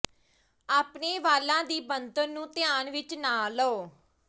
ਆਪਣੇ ਵਾਲਾਂ ਦੀ ਬਣਤਰ ਨੂੰ ਧਿਆਨ ਵਿਚ ਨਾ ਲਓ